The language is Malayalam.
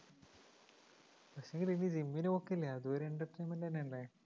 പക്ഷേങ്കില് നീ gym ന് പോക്കില്ലേ അതും ഒരു entertainment തന്നെയല്ലേ?